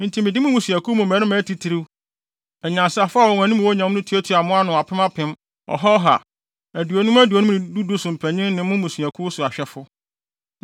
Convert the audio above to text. Enti mede mo mmusuakuw mu mmarima atitiriw, anyansafo a wɔn anim wɔ nyam no tuatuaa mo ano apem apem, ɔha ɔha, aduonum aduonum ne du du so mpanyin ne mo mmusuakuw so sɛ ahwɛfo.